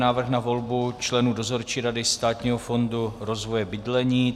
Návrh na volbu členů Dozorčí rady Státního fondu rozvoje bydlení